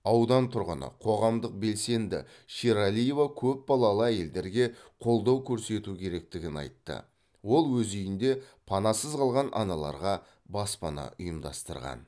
аудан тұрғыны қоғамдық белсенді шералиева көпбалалы әйелдерге қолдау көрсету керектігін айтты ол өз үйінде панасыз қалған аналарға баспана ұйымдастырған